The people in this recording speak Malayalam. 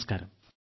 നമസ്കാരം